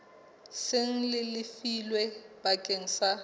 seng le lefilwe bakeng sa